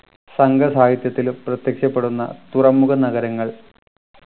സംഘ സാഹിത്യത്തിലും പ്രത്യക്ഷപ്പെടുന്ന തുറമുഖ നഗരങ്ങൾ